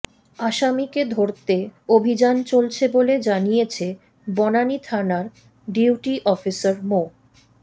আসামিকে ধরতে অভিযান চলছে বলে জানিয়েছে বনানী থানার ডিউটি অফিসার মো